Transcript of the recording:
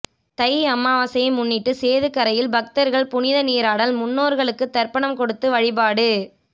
தை அமாவாசையை முன்னிட்டு சேதுக்கரையில் பக்தர்கள் புனிதநீராடல் முன்னோர்களுக்கு தர்ப்பணம் கொடுத்து வழிபாடு